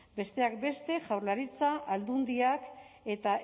besteak beste jaurlaritza aldundiak eta